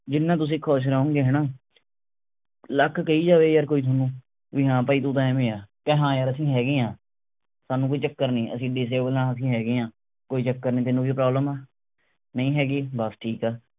ਜਿੰਨਾ ਤੁਸੀਂ ਖੁਸ਼ ਰਹੋਂਗੇ ਹਣਾ ਲੱਖ ਕਹਿ ਜਾਵੇ ਯਾਰ ਕੋਈ ਥੋਨੂੰ ਵੀ ਹਾਂ ਭਾਈ ਤੂੰ ਤਾਂ ਐਂਵੇ ਆ ਕਹਿ ਹਾਂ ਯਾਰ ਅਸੀਂ ਹੈਗੇ ਆ। ਸਾਨੂ ਕੋਈ ਚੱਕਰ ਨਹੀਂ ਅਸੀਂ disable ਆ ਅਸੀਂ ਹੈਗੇ ਆ ਕੋਈ ਚੱਕਰ ਨਹੀਂ ਤੈਨੂੰ ਕੋਈ problem ਆ ਨਹੀਂ ਹੈਗੀ ਬੱਸ ਠੀਕ ਆ।